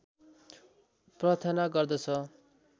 प्रार्थना गर्दछ